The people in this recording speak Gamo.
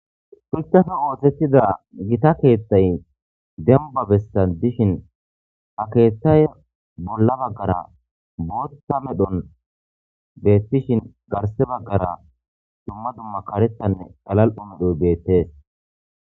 Shuchape ooththettida gita keeththay demba bessan dishin ha keeththay bolla baggara bootta medhon beettishin garse baggara dumma dumma karettanne galal'o medhoy beettees